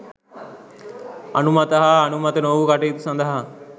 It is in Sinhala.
අනුමත හා අනුමත නොවු කටයුතු සඳහා